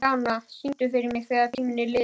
Sjana, syngdu fyrir mig „Þegar tíminn er liðinn“.